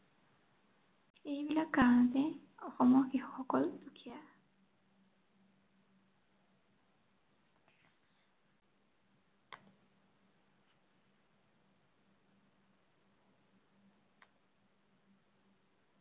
এই বিলাক কাৰনতে অসমৰ কৃষকসকল দুখীয়া।